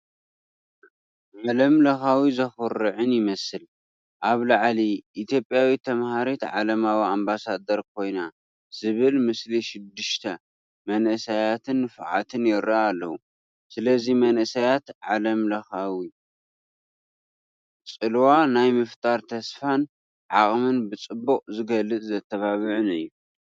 ዓለምለኻዊን ዘኹርዕን ይመስል። ኣብ ላዕሊ "ኢትዮጵያዊት ተማሃሪት ዓለማዊ ኣምባሳደር ኮይና" ዝብል ምስሊ ሽዱሽተ መንእሰያትን ንፉዓትን ይረአ ኣሎ። ስለዚ መንእሰያት ዓለምለኻዊ ጽልዋ ናይ ምፍጣር ተስፋን ዓቕምን ብጽቡቕ ዝገልጽን ዘተባብዕን እዩ፡፡